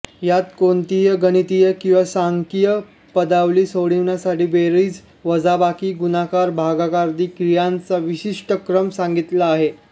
यात कोणतेही गणितीय किंवा सांख्यिकीय पदावली सोडवण्यासाठी बेरीजवजाबाकी गुणाकारभागाकारादी क्रियांचा विशिष्ट क्रम सांगितलेला आहे